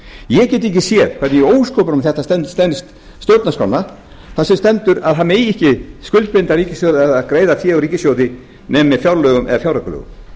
ég get ekki séð hvernig í ósköpunum þetta stenst stjórnarskrána þar sem stendur að það megi ekki skuldbinda ríkissjóð eða greiða fé úr ríkissjóði nema með fjárlögum eða fjáraukalögum